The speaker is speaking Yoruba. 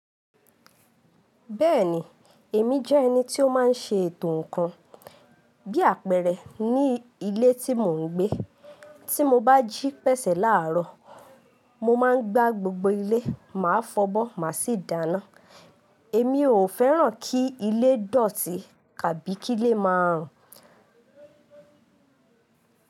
Bẹ́ẹ̀ni, èmi jẹ́ ẹni tí ó máa ń ṣe ètò ǹkan bí àpẹẹrẹ ní ilé tí mò ń gbé. Tí mo bá jí pẹ̀sẹ̀ láàrọ̀, mo máa ń gbá gbogbo ilé, màá fọbọ́, màá sì dáná. Èmi ò fẹ́ràn kí ilé dọ̀tí kàbí kí ilé máa rùn.